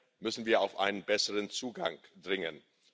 Hier müssen wir auf einen besseren Zugang dringen.